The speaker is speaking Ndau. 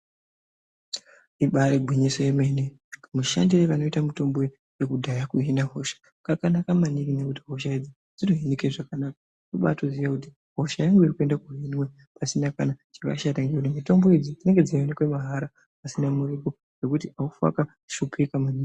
Ibari gwinyiso remene mushandiro unoita mutombo yekudhya kuhina hosha kakanaka maningi ngekuti hosha idzi dzinohinika zvakanaka kubatoziya kuti hosha yangu iri kuhinwaka, chakashata mitombo idzi dzinenge dzeyioneka mahala pasina muripo zvekuti hafe wakashupika maningi .